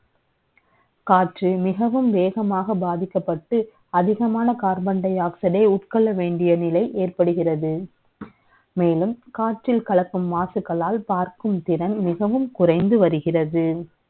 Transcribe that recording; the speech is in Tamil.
காற்று மிகவும் வே கமாக பாதிக்கப்பட்டு, அதிகமான carbon dioxid eஐ உட்க ொள்ள வே ண்டிய நிலை ஏற்படுகிறது. மே லும், காற்றில் கலக்கும் மாசுக்களால் பார்க்கும் திறன், மிகவும் குறை ந்து வருகிறது